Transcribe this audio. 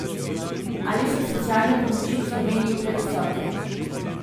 Ali so socialne pomoči v Sloveniji previsoke?